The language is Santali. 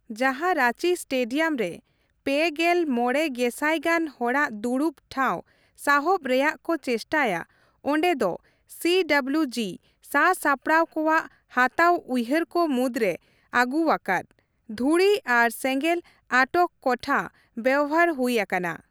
ᱡᱟᱦᱟᱸ ᱨᱟᱸᱪᱤ ᱥᱴᱮᱰᱤᱭᱟᱢ ᱨᱮ ᱓᱕ ᱜᱮᱞ ᱢᱚᱲᱮ ᱜᱮᱥᱟᱭ ᱜᱟᱱ ᱦᱚᱲᱟᱜ ᱫᱩᱲᱩᱵ ᱴᱷᱟᱶ ᱥᱟᱦᱚᱵ ᱨᱮᱭᱟᱜ ᱠᱚ ᱪᱮᱥᱴᱟᱭᱟ, ᱚᱸᱰᱮ ᱫᱚ ᱥᱤᱹᱰᱚᱵᱞᱤᱣᱹᱡᱤ ᱥᱟᱼᱥᱟᱯᱟᱲᱟᱣ ᱠᱚᱣᱟᱜ ᱦᱟᱛᱟᱣ ᱩᱭᱦᱟᱹᱨ ᱠᱚ ᱢᱩᱫᱽᱨᱮ ᱟᱹᱜᱩᱣ ᱟᱠᱟᱫ, ᱫᱷᱩᱲᱤ ᱟᱨ ᱥᱮᱸᱜᱮᱞ ᱟᱴᱚᱠ ᱠᱚᱴᱷᱟ ᱵᱮᱣᱦᱟᱨ ᱦᱩᱭ ᱟᱠᱟᱱᱟ ᱾